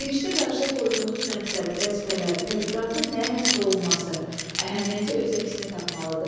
Girişdə qarşıya qoyduğunuz məqsəd, vəzifələr, tədqiqatın nəyə həsr olunması, əhəmiyyəti öz əksini tapmalıdır.